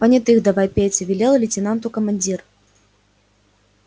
понятых давай петя велел лейтенанту командир